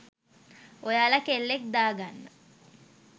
ඔයාලා කෙල්ලෙක් දාගන්න